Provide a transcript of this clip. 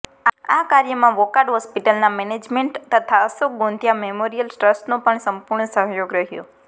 આ કાર્યમાં વોકાર્ડ હોસ્પિટલના મેનેજમેન્ટ તથા અશોક ગોંધીયા મેમોરીયલ ટ્રસ્ટનો પણ સંપૂર્ણ સહયોગ રહયો